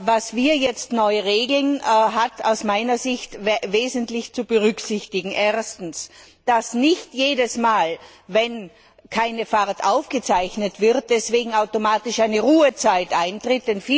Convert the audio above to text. Was wir jetzt neu regeln, hat aus meiner Sicht Folgendes wesentlich zu berücksichtigen Erstens, dass nicht jedes Mal, wenn keine Fahrt aufgezeichnet wird, deswegen automatisch eine Ruhezeit eintritt.